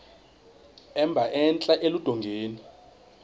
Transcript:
emba entla eludongeni